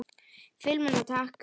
Filmuna takk!